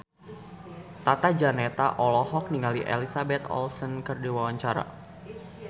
Tata Janeta olohok ningali Elizabeth Olsen keur diwawancara